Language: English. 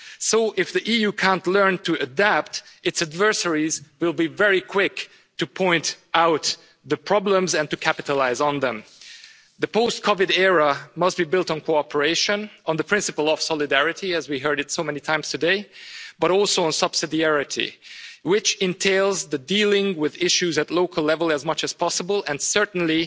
So, if the EU can't learn to adapt, its adversaries will be very quick to point out the problems and to capitalise on them. The post COVID era must be built on cooperation, on the principle of solidarity as we have heard so many times today but also on subsidiarity, which entails dealing with issues at local level as much as possible.